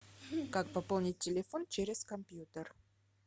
как пополнить телефон через компьютер